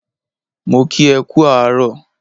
Mo kí e kú àárọ̀